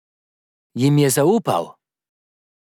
Jim je zaupal?